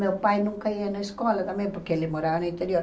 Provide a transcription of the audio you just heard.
Meu pai nunca ia na escola também, porque ele morava no interior.